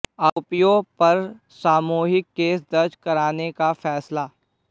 आरोपियों पर सामूहिक केस दर्ज कराने का फैसला